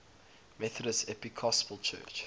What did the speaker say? methodist episcopal church